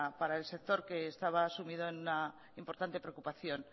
para el sector que estaba sumido en una importante preocupación